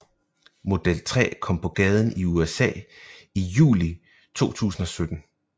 Model 3 kom på gaden i USA i juli 2017